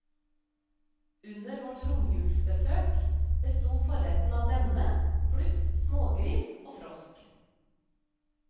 Under vårt romjulsbesøk besto forrettene av denne, pluss smågris og frosk.